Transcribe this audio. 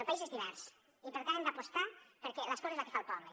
el país és divers i per tant hi hem d’apostar perquè l’escola és la que fa el poble